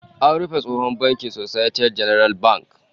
An rufe tsohon bankin Societe Generale Bank